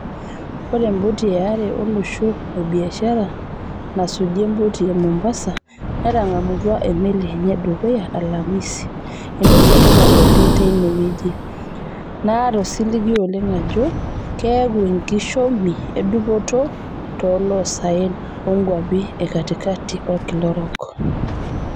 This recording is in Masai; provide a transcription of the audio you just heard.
Oree empoti eare olosho e biashara nasuji empoti e Mombasa netangamutua emeli enye edukuya alamisi, etoki etipat oleng teine wejii, naata osiligi oleng ajoo keeku enkishomi edupoto toolosaen onkuapi ekatikati olkila orok.